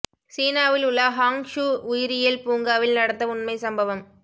சீனாவில் உள்ள Hangzhou உயிரியல் பூங்காவில் நடந்த உண்மை சம்பவம்